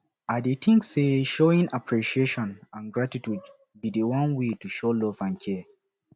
i dey think say showing appreciation and gratitude be di one way to show love and care